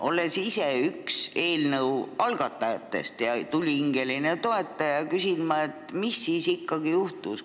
Olles ise üks eelnõu algatajatest ja tulihingeline toetaja, küsin ma, mis siis ikkagi juhtus.